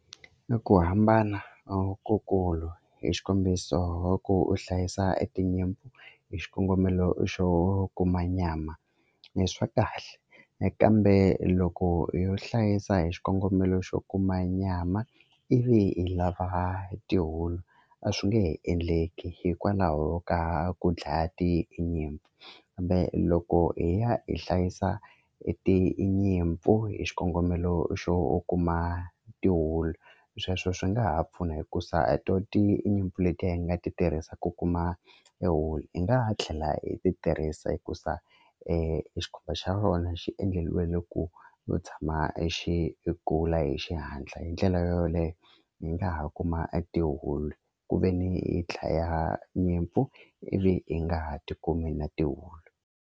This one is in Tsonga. I ku hambana lokukulu hi xikombiso u hlayisa etinyimpfu hi xikongomelo xo kuma nyama le swa kahle kambe loko yo hlayisa hi xikongomelo xo kuma nyama ivi hi lava tihulu a swi nge endleki hikwalaho ka ku dlaya tinyimpfu loko hi ya hi hlayisa e tinyimpfu hi xikongomelo xo kuma tihulu sweswo swi nga ha pfuna hikusa tinyimpfu letiya hi nga ti tirhisa ku kuma e wulu hi nga ha tlhela hi ti tirhisa hikusa xa rona xi endleliwele ku ku tshama yi kula hi xihatla hi ndlela yo yoleyo hi nga ha kuma e tihulu kuveni hi dlaya nyimpfu ivi hi nga ha ti kumi na tihulu.